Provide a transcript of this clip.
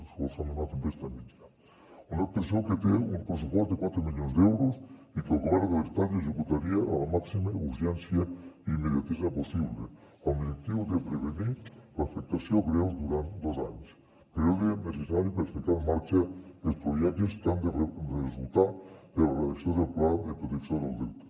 solament una tempesta mitjana una actuació que té un pressupost de quatre milions d’euros i que el govern de l’estat executaria amb la màxima urgència i immediatesa possible amb l’objectiu de prevenir l’afectació greu durant dos anys període necessari per ficar en marxa els projectes que han de resultar de la redacció del pla de protecció del delta